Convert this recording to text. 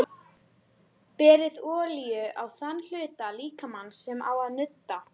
Berið olíu á þann hluta líkamans sem á að nudda.